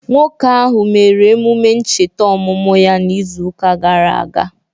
Nwoke ahụ mere emume ncheta ọmụmụ ya n'izuụka gara aga